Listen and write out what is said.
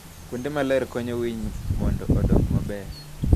Kuonde maler konyo winy mondo odong maber.